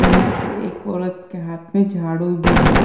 यहाँ पे एक औरत के हाथ में झाड़ू भी है।